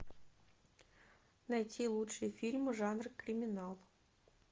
найти лучшие фильмы жанра криминал